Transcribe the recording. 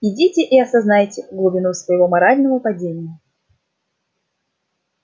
идите и осознайте глубину своего морального падения